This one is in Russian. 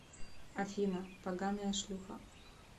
афина поганая шлюха